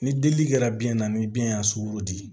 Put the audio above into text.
Ni delili kɛra biyɛn na ni biyɛn y'a sugorodi